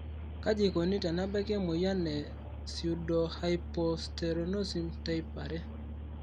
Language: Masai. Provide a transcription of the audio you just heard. kaji eikoni tenebaki emoyian e pseudohypoasteronism type 2?